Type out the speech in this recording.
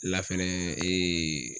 La fɛnɛ